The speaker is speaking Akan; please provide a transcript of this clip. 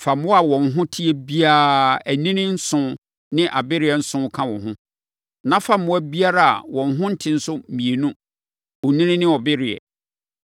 Fa mmoa a wɔn ho te biara, anini nson ne abereɛ nson ka wo ho. Na fa mmoa biara a wɔn ho nte nso mmienu, onini ne ɔbereɛ.